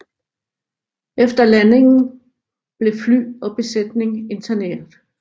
Efter landingen blev fly og besætning interneret